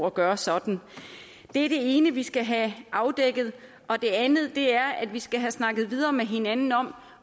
at gøre sådan det er det ene vi skal have afdækket det andet er at vi skal have snakket videre med hinanden om